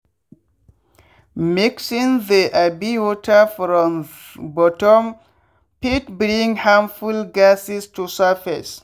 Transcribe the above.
mixing the um water from ths bottom fit bring harmful gases to surface.